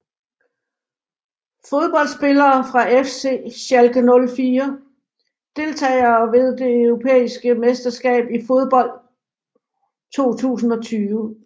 Fodboldspillere fra FC Schalke 04 Deltagere ved det europæiske mesterskab i fodbold 2020